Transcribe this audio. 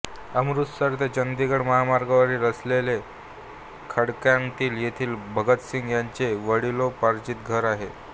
अमृतसर ते चंदीगड महामार्गावर असलेले खटकरकलॉं येथे भगतसिंग यांचे वडिलोपार्जित घर आहे